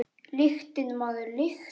Lyktin, maður, lyktin!